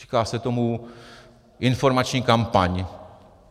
Říká se tomu informační kampaň.